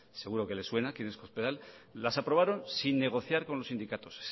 seguro que les suena quién es cospedal las aprobaron sin negociar con los sindicatos